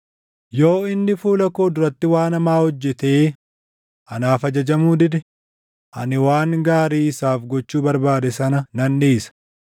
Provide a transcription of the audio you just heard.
yoo inni fuula koo duratti waan hamaa hojjetee anaaf ajajamuu dide, ani waan gaarii isaaf gochuu barbaade sana nan dhiisa.